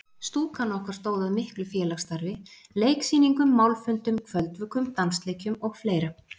Stúkan okkar stóð að miklu félagsstarfi: Leiksýningum, málfundum, kvöldvökum, dansleikjum og fleira.